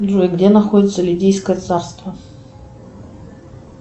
джой где находится лидийское царство